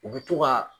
U bɛ to ka